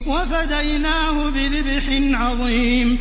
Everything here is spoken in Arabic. وَفَدَيْنَاهُ بِذِبْحٍ عَظِيمٍ